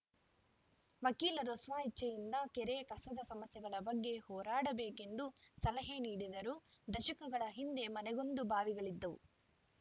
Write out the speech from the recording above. ವಕೀಲರು ಸ್ವ ಇಚ್ಛೆಯಿಂದ ಕೆರೆ ಕಸದ ಸಮಸ್ಯೆಗಳ ಬಗ್ಗೆ ಹೋರಾಡಬೇಕು ಎಂದು ಸಲಹೆ ನೀಡಿದರು ದಶಕಗಳ ಹಿಂದೆ ಮನೆಗೊಂದು ಬಾವಿಗಳಿದ್ದವು